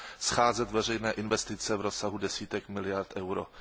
scházet veřejné investice v rozsahu desítek miliard euro.